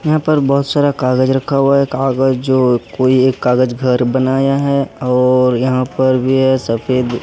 यहां पर बहुत सारा कागज रखा हुआ है कागज जो कोई एक कागज घर बनाया है और यहां पर भी है सफेद--